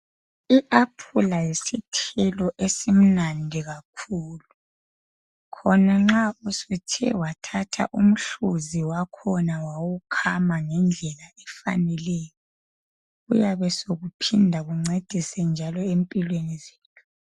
I aphula yisithelo esimnandi kakhulu khona nxa usuthe wathatha umhluzi wakhona wawukhama ngendlela efaneleyo kuyabe sekuphinda ekuncedise njalo empilweni zethu.